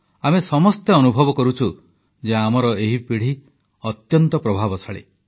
ଆମେ ସମସ୍ତେ ଅନୁଭବ କରୁଛୁ ଯେ ଆମର ଏହି ପିଢ଼ି ଅତ୍ୟନ୍ତ ପ୍ରତିଭାଶାଳୀ